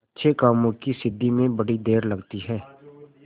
अच्छे कामों की सिद्धि में बड़ी देर लगती है